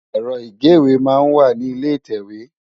Èrò igéwé má n wá ni ilé itèwé